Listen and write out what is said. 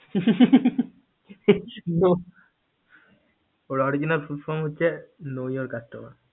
হু হু হু হু হু হু ওর original full form হচ্ছে know your customer